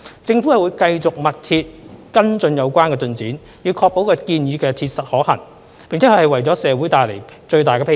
政府會繼續密切跟進有關進展，以確保建議切實可行，並能為社會帶來最大裨益。